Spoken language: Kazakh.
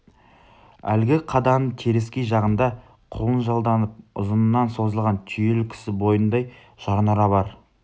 әлгі қаданың теріскей жағында құлынжалданып ұзыннан созылған түйелі кісі бойындай жарнұра бар